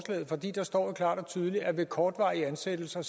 der står jo klart og tydeligt at ved kortvarige ansættelser